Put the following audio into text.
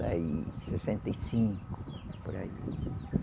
E sessenta e cinco, por aí.